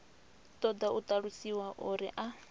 ṱoḓa u ṱalusiwa uri a